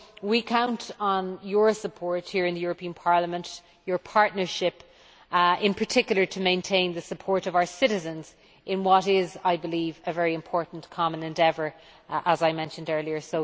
We count on your support here in the European Parliament and your partnership, in particular to maintain the support of our citizens in what is a very important common endeavour, as I mentioned earlier.